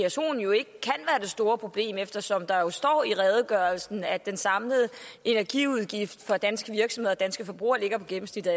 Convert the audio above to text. store problem eftersom der står i redegørelsen at den samlede energiudgift for danske virksomheder og danske forbrugere ligger på gennemsnittet